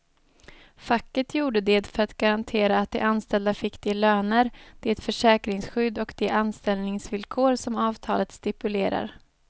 Facket gjorde det för att garantera att de anställda fick de löner, det försäkringsskydd och de anställningsvillkor som avtalet stipulerar.